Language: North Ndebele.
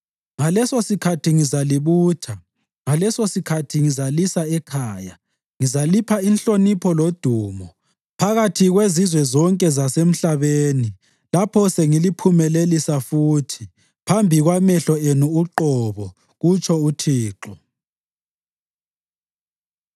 Ngalesosikhathi ngizalibutha; ngalesosikhathi ngizalisa ekhaya. Ngizalipha inhlonipho lodumo phakathi kwezizwe zonke zasemhlabeni lapho sengiliphumelelisa futhi phambi kwamehlo enu uqobo,” kutsho uThixo.